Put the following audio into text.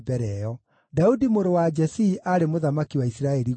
Daudi mũrũ wa Jesii aarĩ mũthamaki wa Isiraeli guothe.